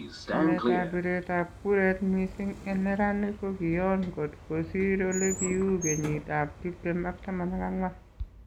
Chameet ab bireetab kuraat missing en neranik kokion kot kosiir olikiuu kenyiit ab 2014